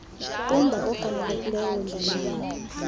kumba ofanelekileyo wembalelwano